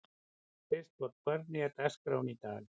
Kristborg, hvernig er dagskráin í dag?